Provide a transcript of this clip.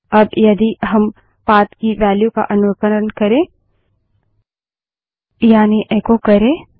अब यदि हम पाथ की वेल्यू का अनुकरण करें यानि एको करे